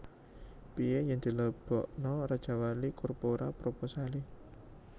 Pie yen dilebokno Rajawali Corpora proposale?